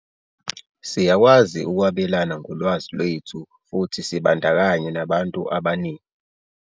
"Siyakwazi ukwabelana ngolwazi lwethu futhi sibandakanye nabantu abaningi."